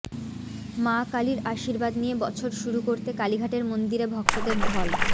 মা কালীর আশীর্বাদ নিয়ে বছর শুরু করতে কালীঘাটের মন্দিরে ভক্তদের ঢল